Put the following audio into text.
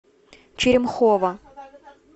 черемхово